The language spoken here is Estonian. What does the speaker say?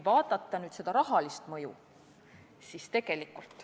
Vaatame rahalist mõju.